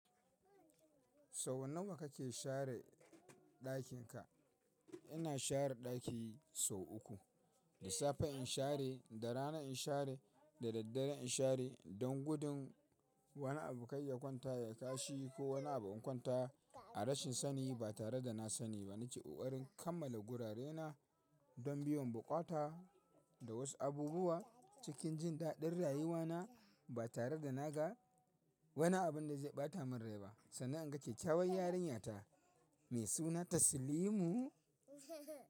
Sau nawa kake share ɗakin ka? Ina share ɗaki sau uku. Da safe in share, da rana in share, da daddare in share don gudun wani abu kaiya kwanta ya kashi ko wani abu in kwanta a rashin sani ba tare da na sani ba. Nake ƙoƙarin kammala gurarena don biyon buƙata da wasu abubuwa cikin jin daɗin rayuwana ba tare da naga wani abin da zai ɓata min rai ba. Sannan in ga kyakyawan yarinyata mai suna Taslimu.